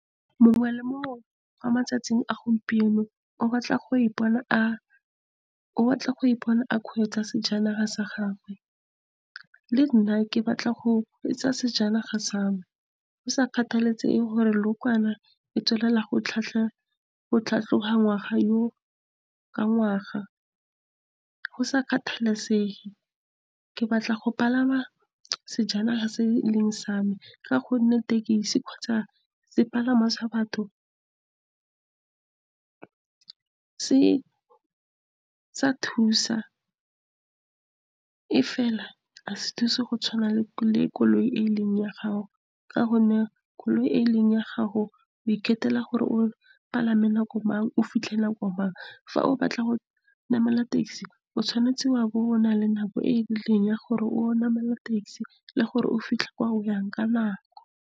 Mongwe le mongwe mo matsatsing a gompieno o batla go ipona a kgweetsa sejanaga sa gagwe. Le nna ke batla go kgweetsa sejanaga sa me, go sa kgathalasege gore leokwane le tswelela go tlhatlhoga ngwaga le ngwaga, go sa kgathalesege. Ke batla go palama sejanaga se e leng sa me, ka gonne tekesi kgotsa sepalangwa sa batho sa thusa, mme fela ga se thuse go tshwana le koloi e leng ya gago. Ka gonne koloi e e leng ya gago, o ikgethela gore o palame nako mang, o fitlhe nako mang. Fa o batla go namela taxi, o tshwanetse wa bo o nale nako e e rileng ya gore o namele taxi le gore o fitlhe kwa o yang ka nako.